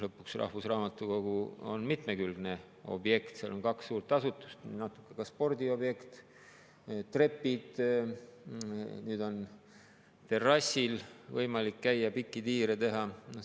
Lõpuks, rahvusraamatukogu on mitmekülgne objekt, seal on kaks suurt asutust, natuke on see ka spordiobjekt, seal on trepid, nüüd on terrassil võimalik käia ja pikki tiire teha.